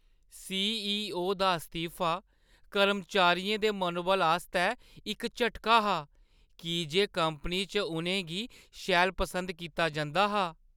CEO. दा इस्तीफा कर्मचारियें दे मनोबल आस्तै इक झटका हा की जे कंपनी च उʼनें गी शैल पसंद कीता जंदा हा।